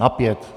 Na pět.